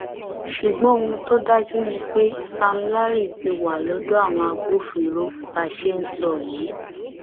ṣùgbọn ohun tó dájú ni pé sam larry ti wà lọdọ àwọn agbófinró bá a ṣe ń sọ yìí